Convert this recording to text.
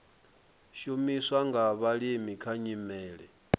shumiswa nga vhalimi kha nyimele